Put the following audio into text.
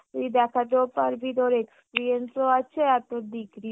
তুই দেখাতেও পারবি তোর experience ও আছে আর degree ও